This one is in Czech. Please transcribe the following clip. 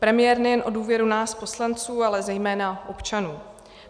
Premiér nejen o důvěru nás poslanců, ale zejména občanů.